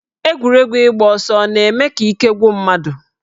Egwuregwu ịgba ọsọ ọ na-eme ka ike gwụ mmadụ?